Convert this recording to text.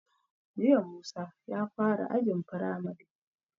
Jiya Musa ya fara ajin firamari